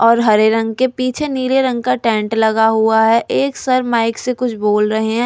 और हरे रंग के पीछे नीले रंग का टेंट लगा हुआ है एक सर माइक से कुछ बोल रहे हैं।